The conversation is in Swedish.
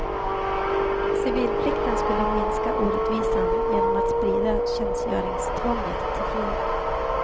Civilplikten skulle minska orättvisan genom att sprida tjänstgöringstvånget till fler.